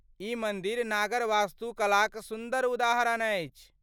ई मन्दिर नागर वास्तुकलाक सुन्दर उदाहरण अछि ।